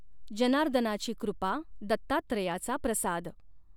जनार्दनाची कॄपा दत्तात्रयाचा प्रसाद।